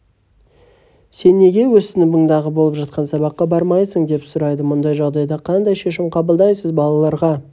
сен неге өз сыныбыңдағы болып жатқан сабаққа бармайсың деп сұрайды мұндай жағдайда қандай шешім қабылдайсыз балаларға